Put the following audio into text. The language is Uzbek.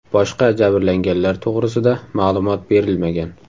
Boshqa jabrlanganlar to‘g‘risida ma’lumot berilmagan.